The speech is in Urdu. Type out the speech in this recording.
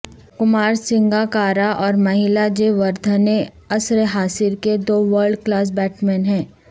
کمار سنگاکارا اور مہیلا جے وردھنے عصر حاضر کے دو ورلڈ کلاس بیٹسمین ہیں